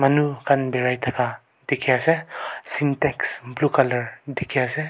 Manu khan berai thaka dekhe ase syntex blue colour dekhe ase.